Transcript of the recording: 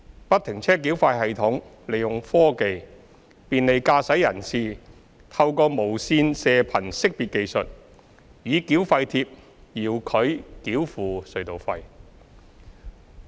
不停車繳費系統利用科技，便利駕駛人士透過無線射頻識別技術，以繳費貼遙距繳付隧道費。